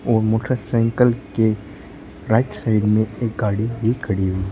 और मोटरसाइकल के right side में एक गाड़ी भी खड़ी हुई है।